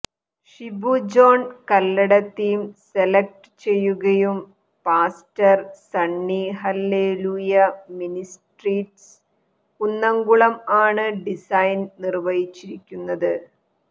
Shibu John Kallada theme select ചെയ്യുകയും pastor Sunny hallelujah ministries Kunnamkulam ആണ് design നിർവഹിച്ചിരിക്കുന്നത്